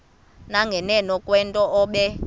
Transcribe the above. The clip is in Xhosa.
nganeno kwento obe